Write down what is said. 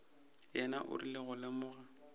yena o rile go lemoga